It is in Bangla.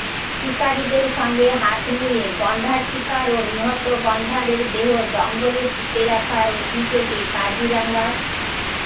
শিকারিদের সঙ্গে হাত মিলিয়ে গন্ডার শিকার ও নিহত গন্ডারের দেহ জঙ্গলে পুঁতে রাখার অভিযোগে কাজিরাঙার